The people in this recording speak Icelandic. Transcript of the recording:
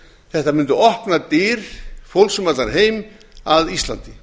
þetta mundi opna dyr fólks um allan heim að íslandi